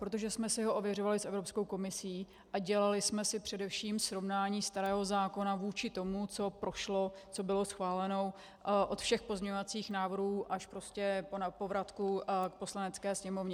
Protože jsme si ho ověřovali s Evropskou komisí a dělali jsme si především srovnání starého zákona vůči tomu, co prošlo, co bylo schváleno od všech pozměňovacích návrhů až prostě po vratku k Poslanecké sněmovně.